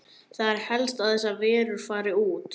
Það er helst að þessar verur fari þar út.